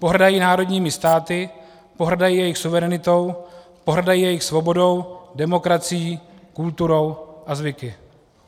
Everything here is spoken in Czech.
Pohrdají národními státy, pohrdají jejich suverenitou, pohrdají jejich svobodou, demokracií, kulturou a zvyky.